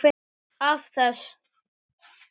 Af þess